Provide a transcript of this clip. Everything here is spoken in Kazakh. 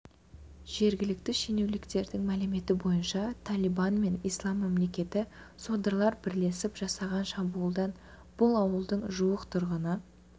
жергілікті шенеуніктердің мәліметі бойынша талибан мен ислам мемлекеті содырлары бірлесіп жасаған шабуылдан бұл ауылдың жуық тұрғыны